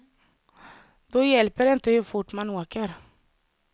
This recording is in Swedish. Då hjälper det inte hur fort man åker.